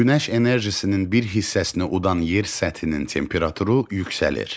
Günəş enerjisinin bir hissəsini udan yer səthinin temperaturu yüksəlir.